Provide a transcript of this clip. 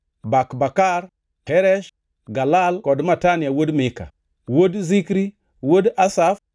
Bakbakar, Heresh, Galal kod Matania wuod Mika, wuod Zikri, wuod Asaf,